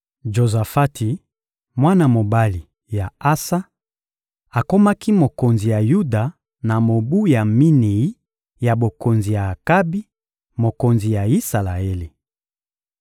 Jozafati, mwana mobali ya Asa, akomaki mokonzi ya Yuda na mobu ya minei ya bokonzi ya Akabi, mokonzi ya Isalaele.